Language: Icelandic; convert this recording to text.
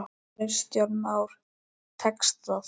Kristján Már: Tekst það?